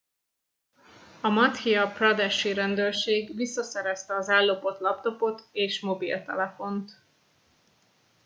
a madhya pradesh i rendőrség visszaszerezte az ellopott laptopot és mobiltelefont